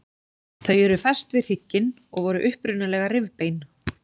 Þau eru fest við hrygginn og voru upprunalega rifbein.